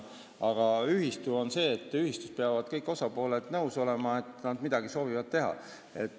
Aga ühistu puhul on nii, et ühistus peavad kõik osapooled nõus olema, et midagi tehakse.